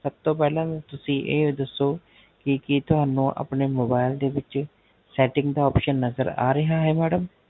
ਸਬ ਤੋ ਪਹਲਾ ਤੁਸੀਂ ਇਹ ਦੱਸੋ, ਕੀ ਕੀ ਤੁਹਾਨੂ ਆਪਣੇ Mobile ਦੇ ਵਿੱਚ Setting ਦਾ Option ਨਜ਼ਰ ਆਰੇਹਾ ਹੈ Madam